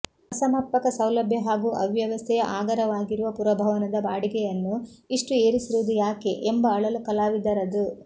ಅಸಮರ್ಪಕ ಸೌಲಭ್ಯ ಹಾಗೂ ಅವ್ಯವಸ್ಥೆಯ ಆಗರವಾಗಿರುವ ಪುರಭವನದ ಬಾಡಿಗೆಯನ್ನು ಇಷ್ಟು ಏರಿಸಿರುವುದು ಯಾಕೆ ಎಂಬ ಅಳಲು ಕಲಾವಿದರದು